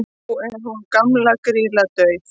nú er hún gamla grýla dauð